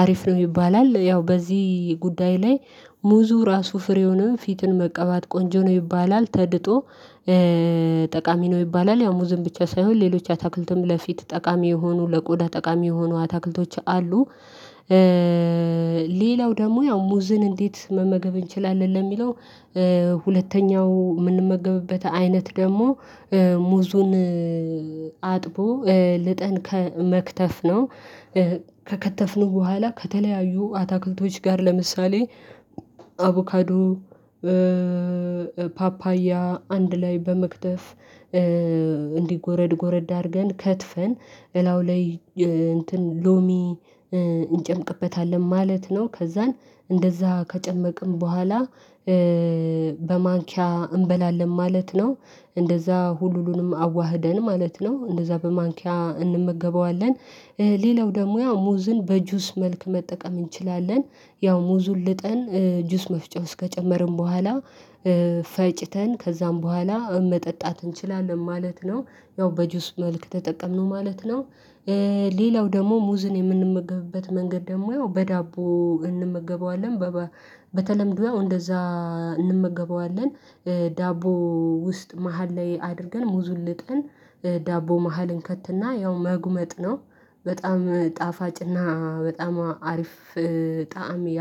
አሪፍ ነው ይባላል ያው በዚህ ጉዳይ ላይ ሙዙ ራሱ ፍሬውንም ፊትን መቀባት ቆንጆ ነው ይባላል። ተልጦ ጠቃሚ ነው ይባላል። ያው ሙዝን ብቻ ሳይሆን ሌሎች አታክልትም ለፊት ጠቃሚ የሆኑ ለቆዳ ጠቃሚ የሆኑ አታክልቶች አሉ። ሌላው ደግሞ ያው ሙዝን እንዴት መመገብ እንችላለን ለሚለው? ሁለተኛው የምንመገብበት አይነት ደግሞ ሙዙን አጥቦ እ ልጠን ከ መክተፍ ነው። ከከተፍነው በኋላ ከተለያዩ አታክልቶች ጋር ለምሳሌ አቮካዶ ፓፓያ አንድ ላይ በመክተፍ እንዲህ ጎረድ ጎረድ አድርገን ከትፈን እላዩ ላይ እንትን ሎሚ እንጨምቅበታለን ማለት ነው። ከዛን እንደዛ ከጨመቅን በኋላ በማንኪያ እንበላለን ማለት ነው። እንደዛ ሁሉንም አዋህደን ማለት ነው እንደዛ በማንኪያ እንመገበዋለን። ሌላው ደግሞ ያው ሙዝን በጁስ መልክ መጠቀም እንችላለን። ያው ሙዙን ልጠን ጁስ መፍጨፍ ዉስጥ ከጨመርን በኋላ ፈጭተን ከዛም በኋላ መጠጣት እንችላለን ማለት ነው። ያው በጁስ መልክ ተጠቀምነው ማለት ነው። ሌላው ደግሞ ሙዝን የምንመገብበት መንገድ ደግሞ ያው በዳቦ እንመገበዋለን በባ በተለምዶ ያው እንደዛ እንመገበዋለን። ዳቦ ውስጥ መሃል ላይ አድርገን ሙዙን ልጠን ዳቦ መሃል እንከትና ያው መጉመጥ ነው። በጣም ጣፋጭና በጣም አሪፍ ጣዕም ያ።